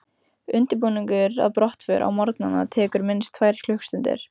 Undirbúningur að brottför á morgnana tekur minnst tvær klukkustundir.